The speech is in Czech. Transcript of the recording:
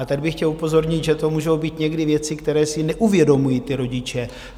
A tady bych chtěl upozornit, že to můžou být někdy věci, které si neuvědomují ti rodiče.